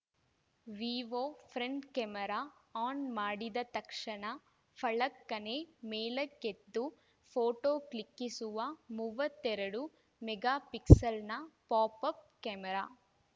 Vivo front camera on ಮಾಡಿದ ತಕ್ಷಣ ಫಳಕ್ಕನೆ ಮೇಲಕ್ಕೆದ್ದು ಫೋಟೋ ಕ್ಲಿಕ್ಕಿಸುವ ಮೂವತ್ತೆರಡು ಮೆಗಾ ಫಿಕ್ಸೆಲ್‌ನ ಪಾಪ್‌ ಅಪ್‌ ಕೆಮರಾ